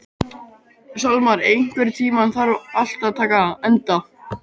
Salmar, einhvern tímann þarf allt að taka enda.